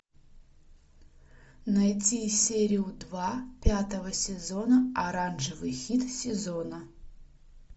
найди серию два пятого сезона оранжевый хит сезона